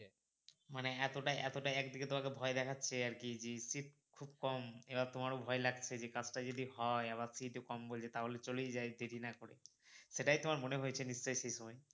মানে এতোটাই এতোটাই একদিকে তোমাকে ভয় দেখাচ্ছে যে আরকি জি seat খুব কম এবার তোমারো ভয় লাগছে যে কাজটা যদি হয় আবার fees ও কম বললো তাহলে চলেই যাই দেরি না করে সেটাই তোমার মনে হয়েছে নিশ্চয়ই সেই সময়?